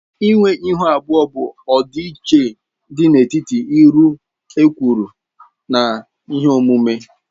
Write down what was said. Ịnwe Ịhu abụọ bụ ọdịiche dị n'etiti uru e kwuru na ihe omume